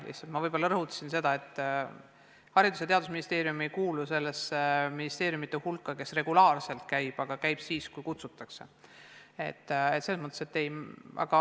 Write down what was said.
Lihtsalt ma võib-olla rõhutasin seda, et Haridus- ja Teadusministeerium ei kuulu nende ministeeriumide hulka, kes käib regulaarselt vestlemas, pigem ainult siis, kui kutsutakse.